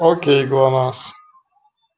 окей глонассс